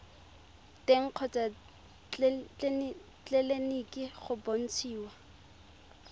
teng kgotsa tleleniki go bontshiwa